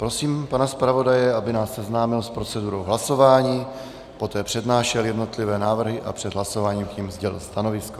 Prosím pana zpravodaje, aby nás seznámil s procedurou hlasování, poté přednášel jednotlivé návrhy a před hlasováním k nim sdělil stanovisko.